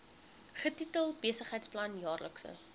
getitel besigheidsplan jaarlikse